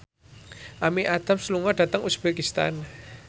Amy Adams lunga dhateng uzbekistan